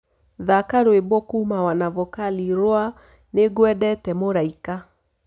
thaka rwĩmbo kũuma wanavokali rwa nĩngwendete mũraĩka